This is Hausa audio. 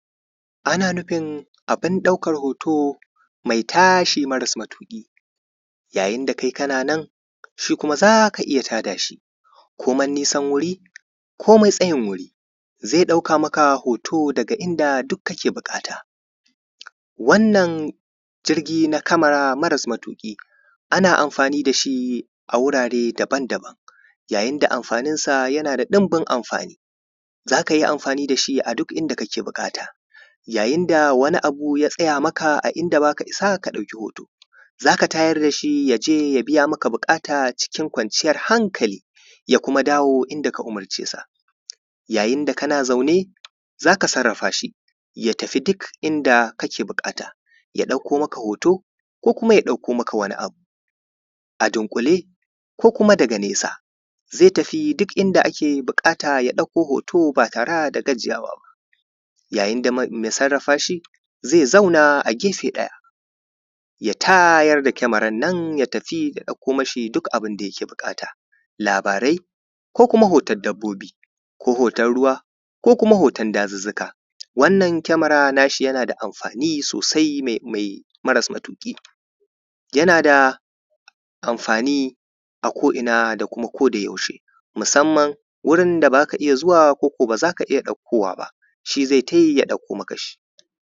Ana nufin abin ɗaukar hoto mai tashi mara matuƙi, yayin da kai kana nan shi kuma za ka iya tada shi, komai nesan wuri komai tsayin wuri zai ɗauka maka hoto daga duk inda kake buƙata. Wannan jirgi na kamara mara matuƙi, ana amfani da shi a wurare daban-daban. Yayin da amfaninsa yake da ɗunbin amfani, za ka yi amfani da shi a duk inda kake buƙata, yayin da wani abu ya tsaya maka a inda ba ka isa ka ɗauka hoto, za ka tayar da shi ya je ya biya maka buƙata cikin kwanciyar hankali, ya kuma dawo inda ka umarce sa, yayin da kana zaune za ka sarrafa shi, ya tafi duk inda kake buƙata, ya ɗauka maka hoto ko kuma ya ɗauka maka wani abu. A dunƙule ko kuma da nesa zai tafi duk inda ake buƙata ya ɗauko hoto ba tare da gajiyawa ba. Yayin da mai sarrafa shi zai zauna a gafe ɗaya, ya tayar da kamaran nan ya tafi ya ɗauko mashi duk abin da yake buƙata, labarai ko kuma hoton dabbobi ko hoton ruwa ko kuma hoton dazuzzuka. Wannan kamaran yana da amfani sosai mai amai mara matuƙi. Yana amfani a ko’ina da kuma kodayaushe, musamman wurin da ba za ka iya zuwa ko kuma wuri da ba za ka iya ɗaukowa ba.